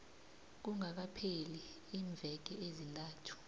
kungakapheli iimveke ezintathu